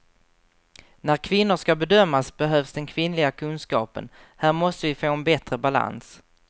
När kvinnor ska bedömas behövs den kvinnliga kunskapen, här måste vi få en bättre balans.